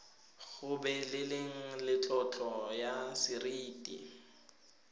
gobeleleng le tlotlo ya seriti